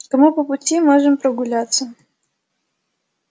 кому по пути можем прогуляться